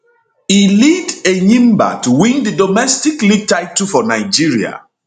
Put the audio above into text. e lead enyimba to win di domestic league title for nigeria